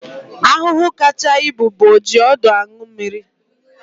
Ahụhụ kacha ibu bụ ojiọdụaṅụmmiri